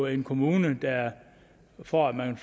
en kommune der for at man